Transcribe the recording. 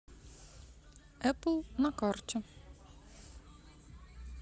эпл на карте